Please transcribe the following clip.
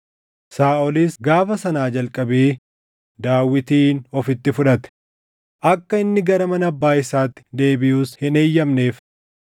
Saaʼolis gaafa sanaa jalqabee Daawitin ofitti fudhate; akka inni gara mana abbaa isaatti deebiʼus hin eeyyamneef.